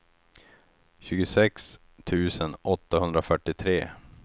tjugosex tusen åttahundrafyrtiotre